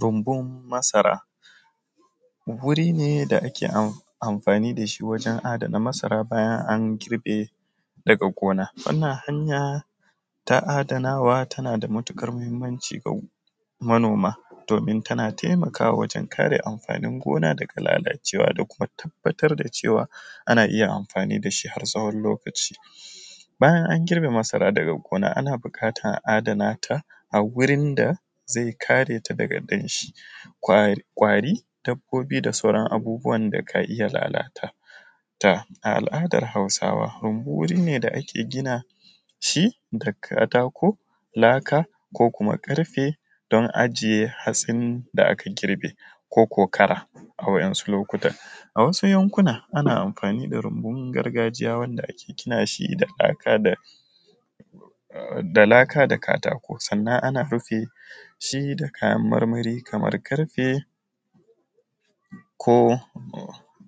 Runbun masara wuri ne da ake amfani da shi wurin adana masara bayan an girbe daga gona, wannan hanya ta adana wa tana da matukar muhimmanci ga manoma domin tana taimakawa wajen kare amfanin gona daga lalacewa da kuma tabbatar da cewa ana iya amfani da shi har tsawon lokaci bayan an girbe masara daga gona ana bukatan a adanata a wurin da zai kare ta daga danshi, ƙwari, dabbobi da sauran abubuwan da ka iya lalata ta a al’adar hausawa, rumbu wuri ne da ake gina shi da katako, laka ko kuma karfe dan ajiye hatsin da aka girbe ko ko kara a waɗansu lokutan awasu yankuna ana amfani da rumbu gargajiya wanda ake gina shi da laka da katako, sannan ana rufe shi da kayan marmari kamar karfe ko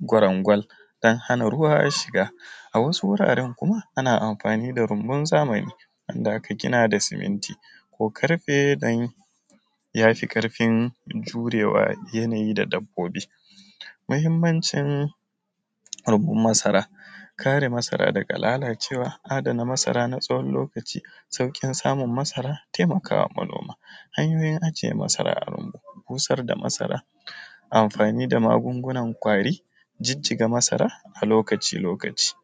kwarangwal don hana ruwa shiga, a wasu wuraren kuma ana amfani da rumbun zamani wanda aka gina shi da siminti ko karfe dan yafi karfin jurewa yanayi da dabbobi, mahimmancin rumbu masara, kare masara daga lalacewa na adana masara na tsawon lokaci saukin samun masara taimakawa manoma hanyoyin ajiye masara a rumbu, busar da masara amfanin da magungunan ƙwari jijiga masara a lokaci lokaci.